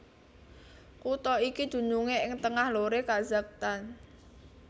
Kutha iki dunungé ing tengah loré Kazakhstan